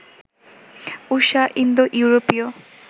ঊষা ইন্দো ইউরোপীয়